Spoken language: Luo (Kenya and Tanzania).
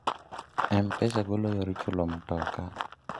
m-pesa golo yor chulo mtoka